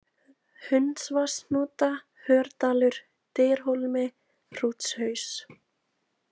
Hundsvatnshnúta, Hördalur, Dyrhólmi, Hrútshaus